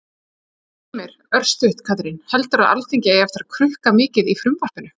Heimir: Örstutt Katrín, heldurðu að Alþingi eigi eftir að krukka mikið í frumvarpinu?